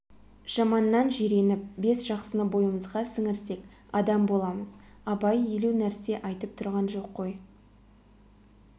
жаманнан жиреніп бес жақсыны бойымызға сіңірсек адам боламыз абай елу нәрсе айтып тұрған жоқ қой